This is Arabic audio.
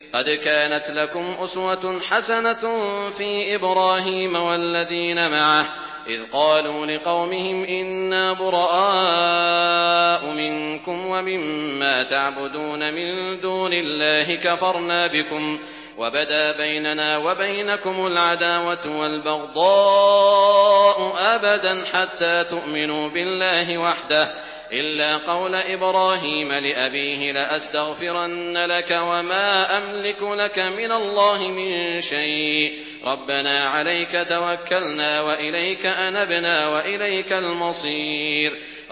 قَدْ كَانَتْ لَكُمْ أُسْوَةٌ حَسَنَةٌ فِي إِبْرَاهِيمَ وَالَّذِينَ مَعَهُ إِذْ قَالُوا لِقَوْمِهِمْ إِنَّا بُرَآءُ مِنكُمْ وَمِمَّا تَعْبُدُونَ مِن دُونِ اللَّهِ كَفَرْنَا بِكُمْ وَبَدَا بَيْنَنَا وَبَيْنَكُمُ الْعَدَاوَةُ وَالْبَغْضَاءُ أَبَدًا حَتَّىٰ تُؤْمِنُوا بِاللَّهِ وَحْدَهُ إِلَّا قَوْلَ إِبْرَاهِيمَ لِأَبِيهِ لَأَسْتَغْفِرَنَّ لَكَ وَمَا أَمْلِكُ لَكَ مِنَ اللَّهِ مِن شَيْءٍ ۖ رَّبَّنَا عَلَيْكَ تَوَكَّلْنَا وَإِلَيْكَ أَنَبْنَا وَإِلَيْكَ الْمَصِيرُ